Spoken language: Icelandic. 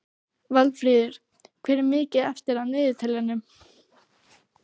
Valfríður, hvað er mikið eftir af niðurteljaranum?